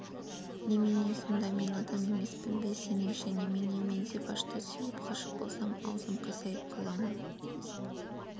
немене сонда мен адам емеспін бе сеніңше немене мен зибашты сүйіп ғашық болсам аузым қисайып қала ма